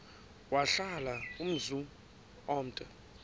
wahlala umzum omde